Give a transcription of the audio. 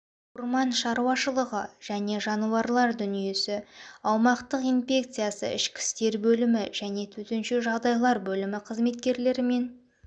орман шаруашылығы және жануарлар дүниесі аумақтық инпекциясы ішкі істер бөлімі және төтенше жағдайлар бөлімі қызметкерлерімен